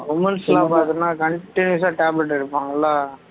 womens எல்லாம் பார்த்தீன்னா continuous ஆ tablet எடுப்பாங்கல்ல